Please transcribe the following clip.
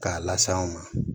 K'a las'anw ma